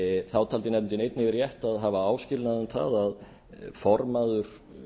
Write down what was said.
þá taldi nefndin einnig rétt að hafa áskilnað um það að formaður